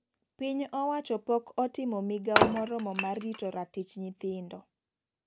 Piny owacho pok otimo migao moromo mar rito ratich nyithindo.